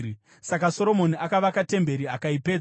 Saka Soromoni akavaka temberi akaipedza.